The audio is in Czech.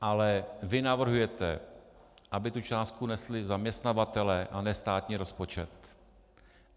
Ale vy navrhujete, aby tu částku nesli zaměstnavatelé, a ne státní rozpočet.